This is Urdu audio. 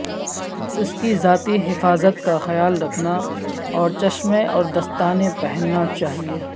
اس کی ذاتی حفاظت کا خیال رکھنا اور چشمیں اور دستانے پہننا چاہیے